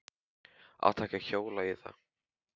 Átti ekki að hjóla í þá.